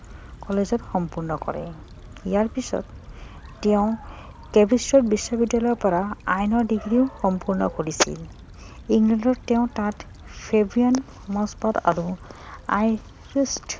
কলেজত সম্পূৰ্ণ কৰে ইয়াৰ পাছত তেওঁ বিশ্ববিদ্যালয়ৰ পৰা আইনৰ ডিগ্ৰীও সম্পূৰ্ণ কৰিছিল ইংলেণ্ডত তেওঁ তাত আৰু